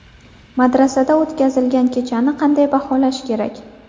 Madrasada o‘tkazilgan kechani qanday baholash kerak?